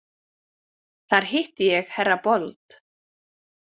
Þar hitti ég herra Bold.